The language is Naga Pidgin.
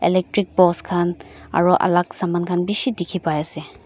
electric post khan aru alak saman khan bishi dikhi pai ase.